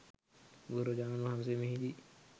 බුදුරජාණන් වහන්සේ මෙහිදී